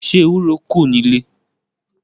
Ṣé ewúro kù nílé.